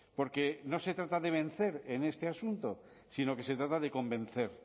porque no se trata de vencer en este asunto sino que se trata de convencer